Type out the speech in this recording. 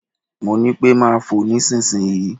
Mo ní pẹ́ máa fò nísinsìnyí.